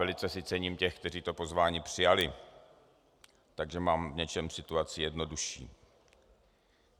Velice si cením těch, kteří to pozvání přijali, takže mám v něčem situaci jednodušší.